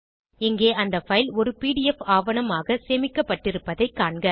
இங்கே அந்த பைல் ஒரு பிடிஎஃப் ஆவணமாக சேமிக்கப்பட்டிருப்பதைக் காண்க